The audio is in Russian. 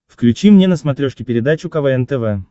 включи мне на смотрешке передачу квн тв